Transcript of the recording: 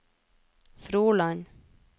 Froland